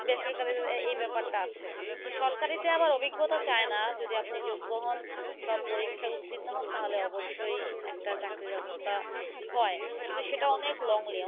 দেশের কাজের জন্য এ এই ব্যাপারটা আছে। তো সরকারিতে আবার অভিজ্ঞতা চায়না। যদি আপনি যোগ্য হন, সব পরীক্ষায় উত্তীর্ণ হন, তাহলে অবশ্যই একটা চাকরির ব্যবস্থা হয়। কিন্তু সেটা অনেক longly